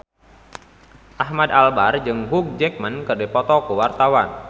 Ahmad Albar jeung Hugh Jackman keur dipoto ku wartawan